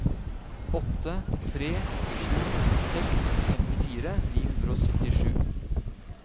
åtte tre sju seks femtifire ni hundre og syttisju